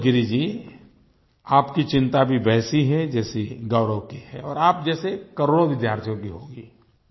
संतोष गिरि जी आप की चिंता भी वैसी है जैसी गौरव की है और आप जैसे करोड़ों विद्यार्थियों की होगी